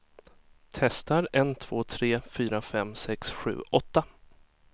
Testar en två tre fyra fem sex sju åtta.